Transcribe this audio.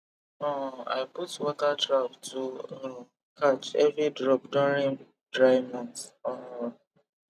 um i put water trap to um catch every drop during dry months um